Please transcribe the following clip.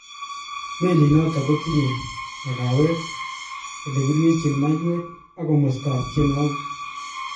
Melit noton kotinye makawet ,ele kiryechen maiwek ak komostab tienwogik.